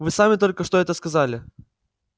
вы сами только что это сказали